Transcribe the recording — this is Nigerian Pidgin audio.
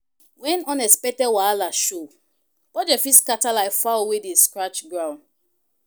Wen unexpected wahala show, budget fit scatter like fowl wey dey scratch ground